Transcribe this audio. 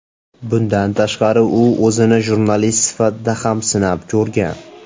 Bundan tashqari u o‘zini jurnalist sifatida ham sinab ko‘rgan.